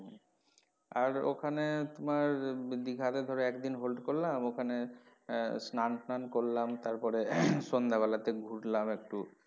আর ওখানে তোমার দিঘা তে ধরো একদিন hold করলাম ওখানে আহ স্নান টান করলাম তারপরে সন্ধ্যা বেলা তে ঘুরলাম একটু।